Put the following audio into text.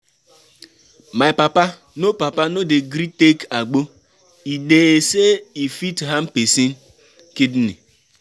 My papa no papa no dey gree take agbo, e dey sey e fit harm pesin kidney.